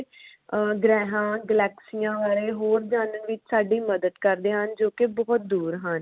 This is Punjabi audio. ਅਹ ਗ੍ਰਹਿਆਂ ਗਲੈਕਸੀਆਂ ਬਾਰੇ ਹੋਰ ਜਾਨਣ ਵਿਚ ਸਾਡੀ ਮਦਦ ਕਰਦੇ ਹਨ ਜੋ ਕੇ ਬੋਹੋਤ ਦੂਰ ਹਨ।